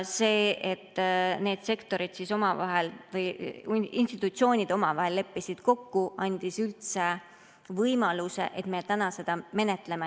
See, et need institutsioonid omavahel kokku leppisid, andis üldse võimaluse, et me täna seda menetleme.